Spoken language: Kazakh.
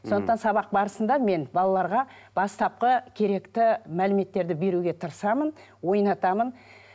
сондықтан сабақ барысында мен балаларға бастапқы керекті мәліметтерді беруге тырысамын ойнатамын